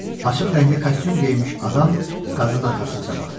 Açıq rəngli kostyum geyinmiş adam qadının arxasınca baxdı.